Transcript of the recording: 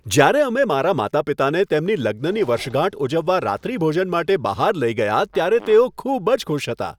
જ્યારે અમે મારા માતા પિતાને તેમની લગ્નની વર્ષગાંઠ ઉજવવા રાત્રિભોજન માટે બહાર લઈ ગયા, ત્યારે તેઓ ખૂબ જ ખુશ હતા.